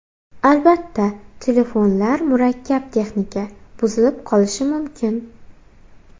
Albatta, telefonlar murakkab texnika, buzilib qolishi mumkin.